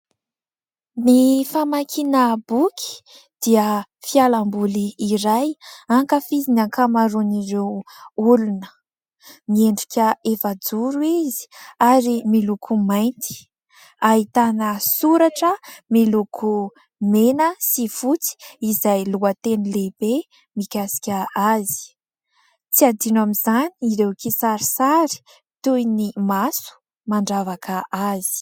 Ny famakiana boky dia fialamboly iray ankafizin'ny ankamaroan'ireo olona. Miendrika efajoro izy ary miloko mainty, ahitana soratra miloko mena sy fotsy izay lohateny lehibe mikasika azy. Tsy adino amin'izany ireo kisarisary, toy ny maso mandravaka azy.